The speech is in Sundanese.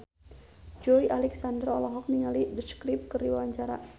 Joey Alexander olohok ningali The Script keur diwawancara